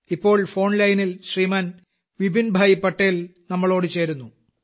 ഇപ്പോൾ ഫോൺ ലൈനിൽ ശ്രീമാൻ വിപിൻഭായി പട്ടേൽ നമ്മളോട് ചേരുന്നു